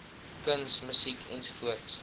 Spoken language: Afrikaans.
kuns musiek ens